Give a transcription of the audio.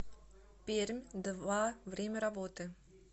пермь два время работы